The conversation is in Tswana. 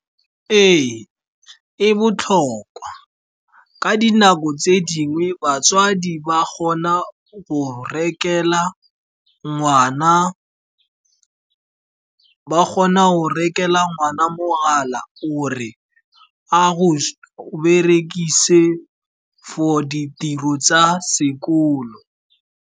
Ee, e botlhokwa ka dinako tse dingwe, batsadi ba kgona go rekela ngwana mogala gore a berekise for ditiro tsa sekolo.